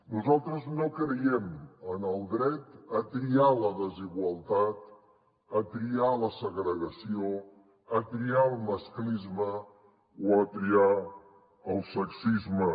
nosaltres no creiem en el dret a triar la desigualtat a triar la segrega·ció a triar el masclisme o a triar el sexisme